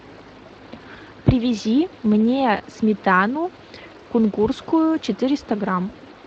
привези мне сметану кунгурскую четыреста грамм